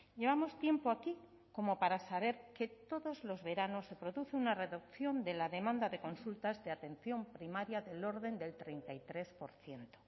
llevamos tiempo aquí como para saber que todos los veranos se produce una reducción de la demanda de consultas de atención primaria del orden del treinta y tres por ciento